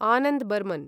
Anand Barman